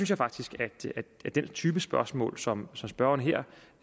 jeg faktisk at den type spørgsmål som